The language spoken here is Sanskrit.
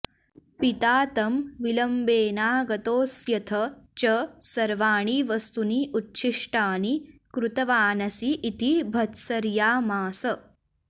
पिता तं विलम्बेनागतोऽस्यथ च सर्वाणि वस्तूनि उच्छिष्टानि कृतवानसि इति भर्त्सयामास